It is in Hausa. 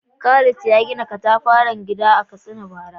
Khalid ya gina katafaren gida mai kayatarwa a Katsina bara.